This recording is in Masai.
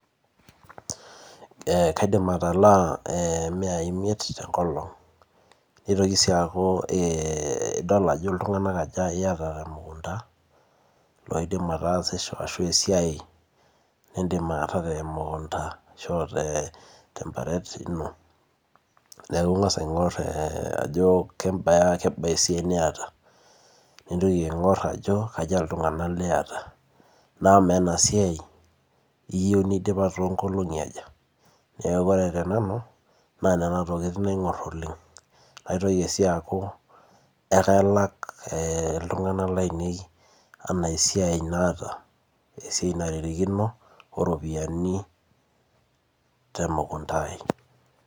Ee kaidim atalaa eemiyai isiet tenkolong teitoki sii aaku ee idol Ajo iltungana aja iyata temukunda loidim atasisho ashu esiae nidim aishoo temukunda aishoo tembaret ino neeku ingas aingor Ajo kebaa esiae niyata nintoki aingor Ajo kaja iltungana liyata na maa ena siae iyiu nidipa toonkolongi aja neeku ore tenanu naa Nena tokini aingor oleng' maitoki sii aaku ekalak iltungana lainei enaa esiae naata esiae naitirikino oropiyiani temukunda ai.